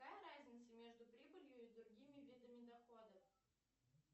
какая разница между прибылью и другими видами доходов